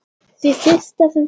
Því fyrsta sem fór.